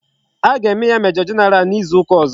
A ga eme ya major general na izu uka ozo